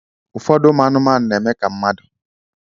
Ụfọdụ anumanu na eme ka mmadu.